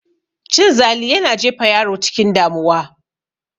Cin zali yana jefa yaro cikin damuwa